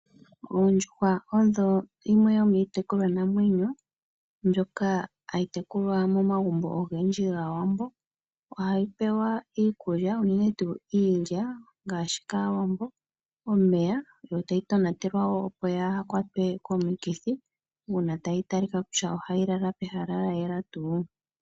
Oondjuhwa odho yimwe yo miitekulwanamwenyo mbyoka hayi tekulwa momagumbo ogendji gAawambo. Oha dhi pewa iikulya, unene tuu iilya ngaashi kAawambo omeya, yo tayi tonatelwa wo opo yaa ha kwatwe komukithi, una tayi talika kutya oha yi lala pehala lya yela tuu.